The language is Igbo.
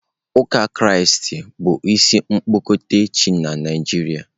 Uka kraisti bụ ịsị okpukpe chi na Naịjirịa.